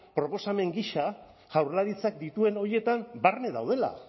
proposamen gisa jaurlaritzak dituen horietan barne daudela